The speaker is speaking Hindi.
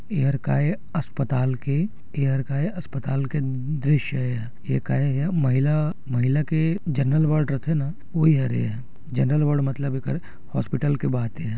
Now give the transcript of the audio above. ये हर का ए अस्पताल के ए हर का ए अस्पताल के दृश्य ए ये हा ये ह का ए एह महिला महिला के जनरल वार्ड रथे न ओहि हरे ये ह जनरल वार्ड मतलब एकर हॉस्पिटल के बात ए ये हा।